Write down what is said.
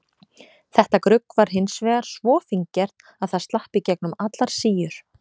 Þetta grugg var hins vegar svo fíngert að það slapp í gegnum allar síur.